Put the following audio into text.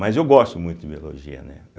Mas eu gosto muito de Biologia, né.